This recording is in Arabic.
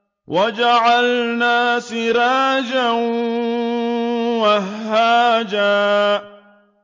وَجَعَلْنَا سِرَاجًا وَهَّاجًا